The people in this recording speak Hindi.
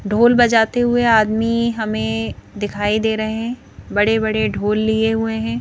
ढोल बजाते हुए आदमी हमें दिखाई दे रहे हैं बड़े बड़े ढोल लिए हुए हैं।